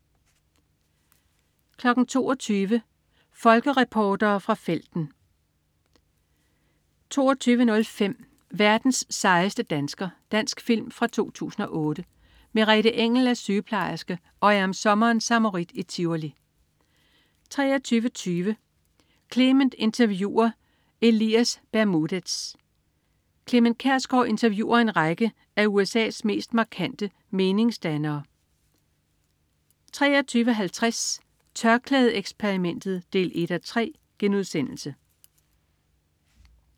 22.00 Folkereportere fra felten 22.05 Verdens sejeste dansker. Dansk film fra 2008. Merete Engell er sygeplejerske og er om sommeren samarit i Tivoli 23.20 Clement interviewer Elias Bermudez. Clement Kjersgaard interviewer en række af USA's mest markante meningsdannere 23.50 TørklædeXperimentet 1:3*